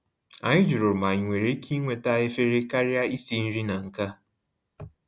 Anyị jụrụ ma anyị nwere ike iweta efere karịa isi nri na nke a